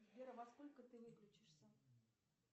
сбер а во сколько ты выключишься